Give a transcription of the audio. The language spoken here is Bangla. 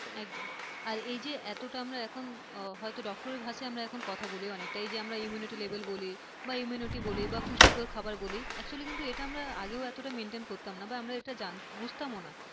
একদম আর যে এতটা আমরা এখন হয়তো doctor এর ভাষায় এখন কথা বলি অনেকটা এই যে immunity level বলি বা immunity বলি বা পুষ্টিকর খাবার বলি actually এটা আমরা আগেও এতটা maintain করতাম না বা আমরা বুঝতামও না।